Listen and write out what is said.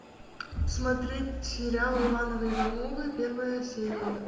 смотреть сериал ивановы ивановы первая серия